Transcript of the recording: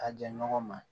A ja ɲɔgɔn ma